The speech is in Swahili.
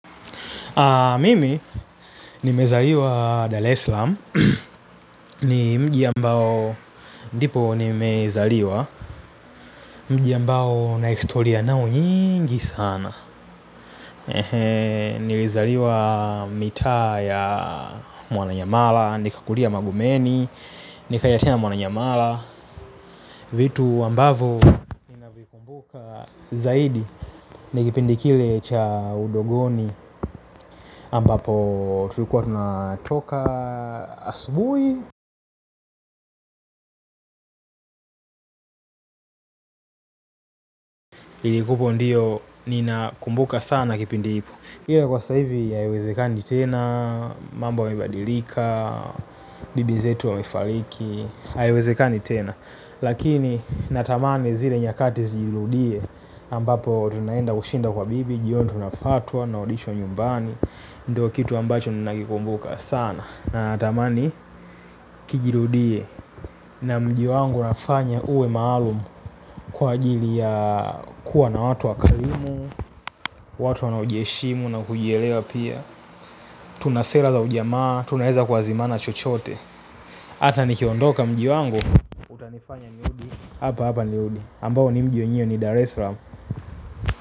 Mimi nimezaliwa Daleslam ni mji ambao ndipo nimezaliwa mji ambao nahistoria nao nyingi sana. Nilizaliwa mitaa ya Mwananyamala, nikakulia Magumeni, nikaelekea Mwananyamala. Vitu ambavo ninavikumbuka zaidi. Ni kipindi kile cha udogoni ambapo tulikuwa tunatoka asubui. Ili kuko ndiyo ninakumbuka sana kipindi iko. Ila kwa saivi haewezekani tena. Mambo imebadilika. Bibi zetu wamefaliki haiwezekani tena. Lakini natamani zile nyakati ziludie ambapo tunaenda kushinda kwa bibi. Jioni tunafaa tuwa na audition nyumbani ndiyo kitu ambacho ninakikumbuka sana natamani kijirudie. Na mji wangu nafanya uwe maalum. Kwa ajili ya kuwa na watu wakalimu. Watu wanaojiheshimu na kujielewa pia. Tunasela za ujamaa. Tunaeza kuazimana chochote. Hata nikiondoka mji wangu nifanya nirudi. Hapa hapa nirudi ambao ni mji wenyewe ni Daresram.